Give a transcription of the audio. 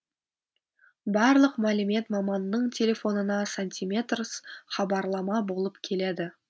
барлық мәлімет маманның телефонына сантиметрс хабарлама болып келеді